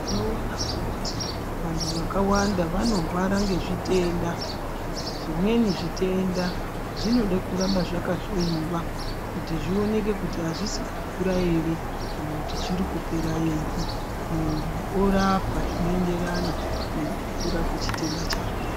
Tinoona kuti vantu vanorwara ngezvitenda zvimweni zvitenda zvinode kuramba zvakahloyiwa kuti zvioneke kuti azvisi kukura ere kana kuti zvirikupera ere muntu orapwa zvinoenderana nekukura kwechitenda chake.